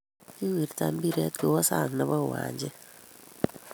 Kiwirta mbiret kowa sang nebo uwanjet